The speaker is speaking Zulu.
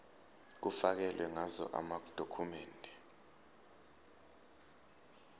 kufakelwe ngazo amadokhumende